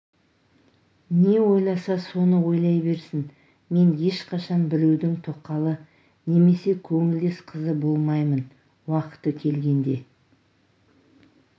не ойласа соны ойлай берсін мен ешқашан біреудің тоқалы немесе көңілдес қызы болмаймын уақыты келгенде